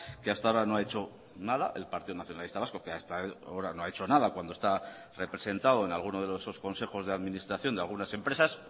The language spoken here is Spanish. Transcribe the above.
que hasta ahora no ha hecho nada el partido nacionalista vasco que hasta ahora no ha hecho nada cuando está representado en alguno de los consejos de administración de algunas empresas